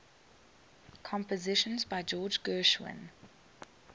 compositions by george gershwin